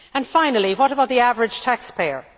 Finally, what about the average taxpayer?